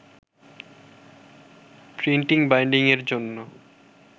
প্রিন্টিং-বাইন্ডিংয়ের জন্য